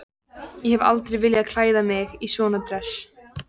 Ég hef aldrei viljað klæða mig í svona dress.